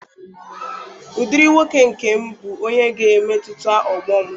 Ụdịrị nwoke nke m bụ onye ga-emetụta ọgbọ m.